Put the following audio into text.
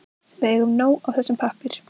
Við eigum nóg af þessum pappír.